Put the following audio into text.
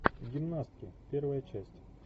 гимнастки первая часть